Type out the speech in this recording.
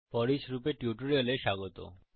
foreach লুপের টিউটোরিয়ালে স্বাগত